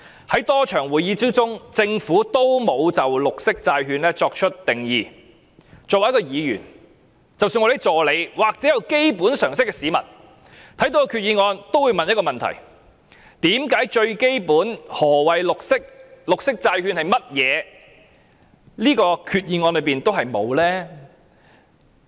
在多次會議當中，政府也沒有就綠色債券作出定義，作為一位議員，即使是我們的助理或有基本常識的市民，看到決議案也會問一個問題：為何最基本的何謂綠色、綠色債券是甚麼，在這個決議案內也沒有提及？